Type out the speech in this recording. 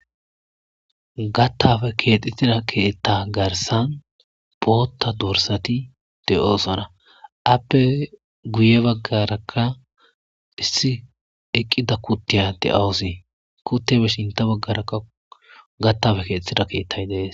Gattafe keexxetida keetta garsan pootta dursati de7osona appe guye baggarakka issi eqqida kuttiyade awusii kuttibe shinta baggarakka gattafe keexetida keettay dees.